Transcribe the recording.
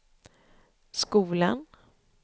skolan